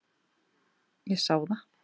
Ég sá það.